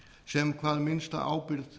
sem hvað minnsta ábyrgð